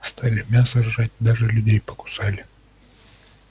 стали мясо жрать даже людей покусали